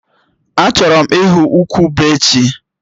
Achọrọ m ịhụ ukwu ube echi